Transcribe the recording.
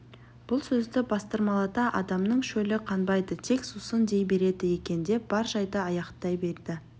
бұл сөзді бастырмалата адамның шөлі қанбайды тек сусын дей береді екен деп бар жайды аяқтай берді